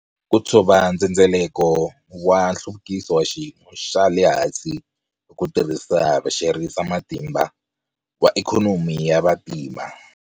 Ku tshova ndzhendzeleko wa nhluvukiso wa xiyimo xa le hansi hi ku tirhisa havexerisamatimba wa ikhonomi ya vantima